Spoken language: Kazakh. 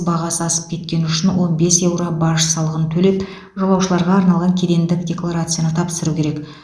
бағасы асып кеткені үшін он бес еуро баж салығын төлеп жолаушыларға арналған кедендік декларацияны тапсыру керек